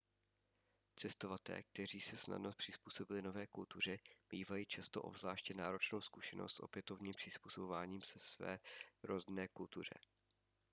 cestovatelé kteří se snadno přizpůsobili nové kultuře mívají často obzvláště náročnou zkušenost s opětovným přizpůsobováním se své rodné kultuře